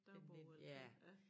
Dagbog eller det ja